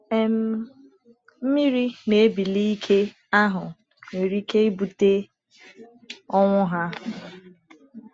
um Mmiri na-ebili ike ahụ nwere ike ibute ọnwụ ha.